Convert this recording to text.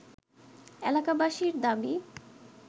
এলাকাবাসীর দাবি